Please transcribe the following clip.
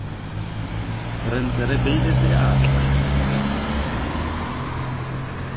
re ntse re beile seatla